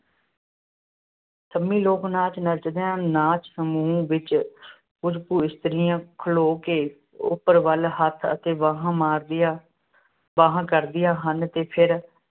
ਸੰਮੀ ਲੋਕ-ਨਾਚ ਨੱਚਦੀਆਂ ਨਾਚ -ਸਮੂਹ ਵਿੱਚ ਕੁੱਝ ਕੁ ਇਸਤਰੀਆਂ ਖਲੋ ਕੇ, ਉੱਪਰ ਵੱਲ ਹੱਥ ਅਤੇ ਬਾਹਾਂ ਮਾਰਦੀਆਂ ਬਾਂਹਾਂ ਕਰਦੀਆਂ ਹਨ ਤੇ ਫਿਰ